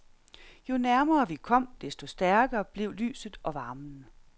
Jo nærmere vi kom, desto stærkere blev lyset og varmen.